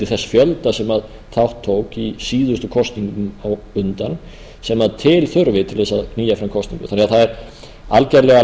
þess fjölda sem þátt tók í síðustu kosningum á undan sem til þurfi til þess að knýja fram kosningar það er því algjörlega